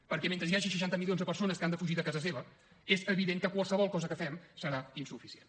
perquè mentre hi hagi seixanta milions de persones que han de fugir de casa seva és evident que qualsevol cosa que fem serà insuficient